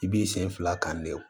I b'i sen fila kan de